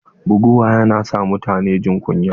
Buguwa yana sa mutune jin kunya.